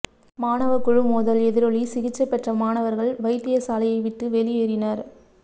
மாணவ குழு மோதல் எதிரொலி சிகிச்சை பெற்ற மாணவர்கள் வைத்தியசாலையை விட்டு வெளியேறினர்